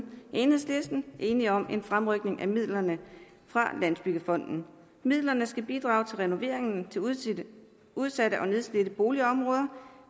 enhedslisten enige om en fremrykning af midlerne fra landsbyggefonden midlerne skal bidrage til renoveringen af udsatte og nedslidte boligområder